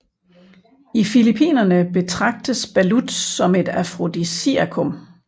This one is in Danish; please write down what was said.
I Filippinerne betragtes balut som et afrodisiakum